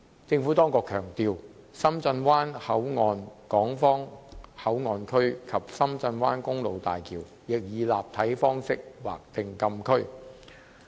政府當局強調，深圳灣口岸港方口岸區及深圳灣公路大橋亦以立體方式劃定禁區。